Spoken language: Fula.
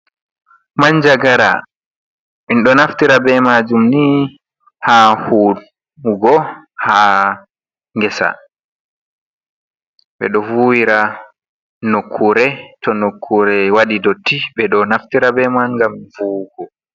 Manjagara en ɗo naftira be majum ni ha huwugo ha ngesa, ɓe ɗo vuwira nukkure to nukkure waɗi dotti, ɓe ɗo naftira be man ngam vuwugo.